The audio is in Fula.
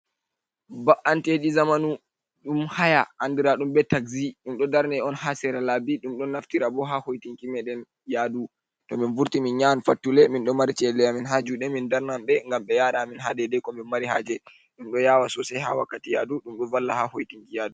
Baanteeɗi zamanu ɗum haya, andiraadum be taxzi, ɗum ɗo o darne on ha sera laabi, ɗum ɗon naftira bo ha hoitinki meedeen yadu, to min vurti min yahan fattule min ɗoo mari cede amin haa juude, min darnanɓee gam ɓe yara amin ha dedei ko min mari haaje, ɗum ɗo yawa sosai ha wakkati yadu ɗum ɗon valla ha hoitinki yaadu.